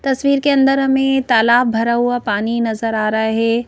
तस्वीर के अंदर हमें तालाब भरा हुआ पानी नजर आ रहा है।